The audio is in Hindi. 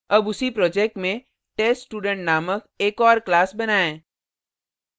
अब उसी project में teststudent named एक और class बनाएँ